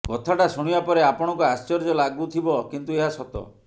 କଥାଟା ଶୁଣିବା ପରେ ଆପଣଙ୍କୁ ଆଶ୍ଚର୍ଯ୍ୟ ଲାଗୁଥିବ କିନ୍ତୁ ଏହା ସତ